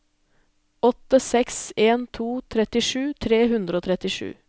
åtte seks en to trettisju tre hundre og trettisju